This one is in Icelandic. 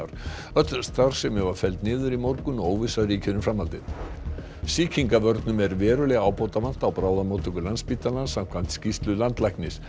öll starfsemi var felld niður í morgun og óvissa ríkir um framhaldið sýkingavörnum eru verulega ábótavant á bráðamóttöku Landspítalans samkvæmt skýrslu landlæknis